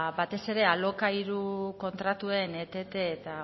batez ere alokairu kontratuen etete